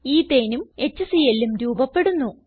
Ethaneഉം HClഉം രൂപപ്പെടുന്നു